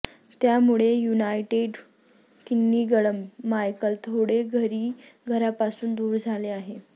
त्यामुळे United Kingdom Michael थोडे घरी घरापासून दूर झाले आहे